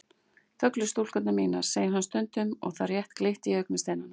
Þöglu stúlkurnar mínar, segir hann stundum og það rétt glittir í augasteinana.